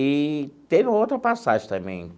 Eee tem uma outra passagem também.